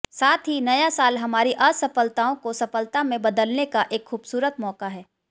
साथ ही नया साल हमारी असफलताओं को सफलता में बदलने का एक खूबसूरत मौका है